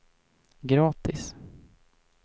gratis